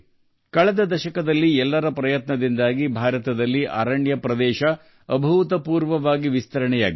ಕಳೆದ ದಶಕದಲ್ಲಿ ಸಾಮೂಹಿಕ ಪ್ರಯತ್ನಗಳ ಮೂಲಕ ಭಾರತದಲ್ಲಿ ಅಭೂತಪೂರ್ವವಾಗಿ ಅರಣ್ಯ ಪ್ರದೇಶ ವಿಸ್ತರಣೆಯಾಗಿದೆ